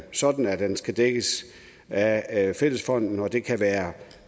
sådan at det skal dækkes af af fællesfonden og det kan være